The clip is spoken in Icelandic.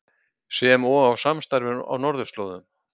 Sem og á samstarfi á Norðurslóðum